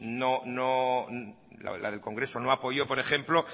la del congreso no la apoyó por ejemplo